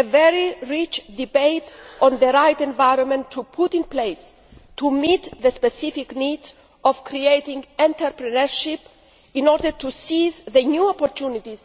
a very rich debate on the right environment to put in place to meet the specific needs of creating entrepreneurship in order to seize the new opportunities